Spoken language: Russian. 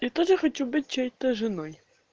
я тоже хочу быть чьей-то женой